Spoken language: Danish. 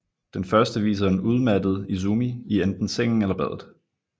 Den første viser en udmattet Izumi i enten sengen eller badet